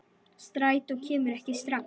Strætó kemur ekki strax.